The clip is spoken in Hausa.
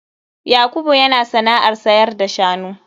Yakubu yana sana'ar sayar da shanu.